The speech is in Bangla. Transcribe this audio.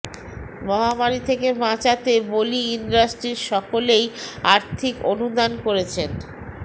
মহামারি থেকে বাঁচাতে বলি ইন্ডাস্ট্রির সকলেই আর্থিক অনুদান করছেন